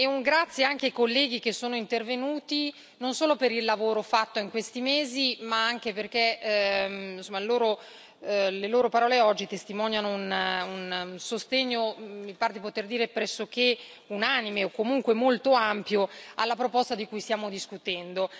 Un grazie anche ai colleghi che sono intervenuti, non solo per il lavoro fatto in questi mesi, ma anche perché le loro parole oggi testimoniano un sostegno, mi pare di poter dire, pressoché unanime o comunque molto ampio, alla proposta di cui stiamo discutendo.